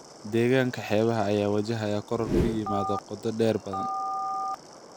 Deegaanka xeebaha ayaa wajahaya koror ku yimaada qoto dheer badda.